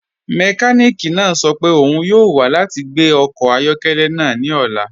Mẹkànìkì náà sọ́ pẹ́ ọ́un yọọ wa lati gbẹ ọkọ ayọkẹlẹ́ náà ni ọ̀la.